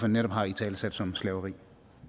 netop har italesat som slaveri